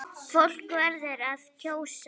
Fólk verður að kjósa!